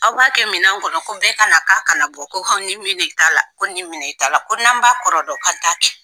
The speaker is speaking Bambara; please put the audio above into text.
Aw b'a kɛ minɛn kɔnɔ ko bɛɛ ka na k'a kana bɔ, ko aw ni min ta la ko n'an b'a kɔrɔ dɔn k'an t'a kɛ